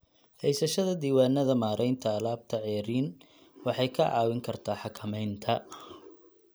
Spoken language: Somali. Haysashada diiwaannada maaraynta alaabta ceeriin waxay kaa caawin kartaa xakamaynta.